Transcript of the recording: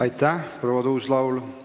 Aitäh, proua Tuus-Laul!